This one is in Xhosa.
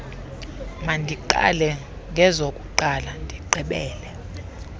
mandiqale ngezokuqala ndigqibele